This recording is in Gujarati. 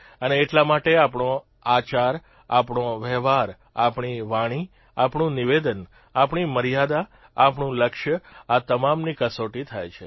અને એટલા માટે આપણો આચાર આપણો વહેવાર આપણી વાણી આપણું નિવેદન આપણી મર્યાદા આપણું લક્ષ્ય આ તમામની કસોટી થાય છે